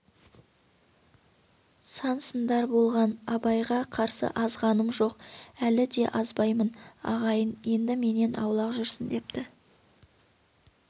сан сындар болған абайға қарсы азғаным жоқ әлі де азбаймын ағайын енді менен аулақ жүрсін депті